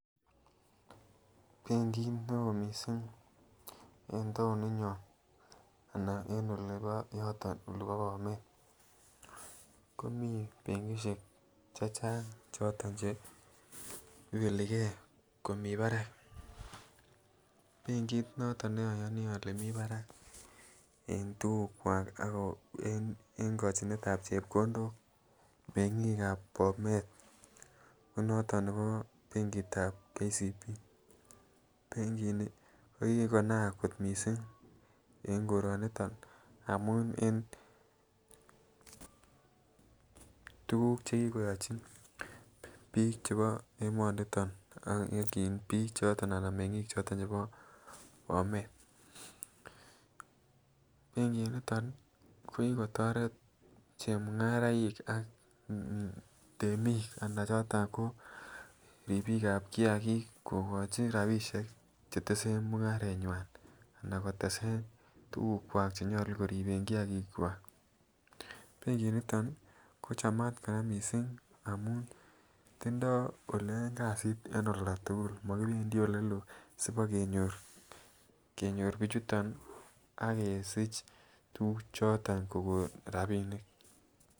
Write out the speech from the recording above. Benkit neo missing en taoni nyon anan en ole bo yoton olebo Bomet, komii benkishek che Chang choto che ibeli gee komii barak. Benkit noton neoyonii ole mii barak en tukuk kwak ako en kojinet tab chepkondok mengik ab Bomet ko noton nebo benkit tab KCB. Benkit nii kokikonaak kot missing en koroniton amun en tukuk chekikoyochi bik chebo emoniton ak en bik anan mengik choton chebo Bomet, benkit niton kokikotoret chemungaraik ak temik anan choton ko ripik ab kiyakik kokochi rabishek chetesen mungareywan anan ko tesen tukuk kwak chenyolu koriben kiyakik kwak. Benkit niton ko chamat Koraa missing amun tindoi oleyoen kasit en olda tukul mokipendii oleloo sipokenyor bichuton ak kosich tukuk choton kokon rabinik.